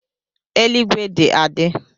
Eluigwe dị adị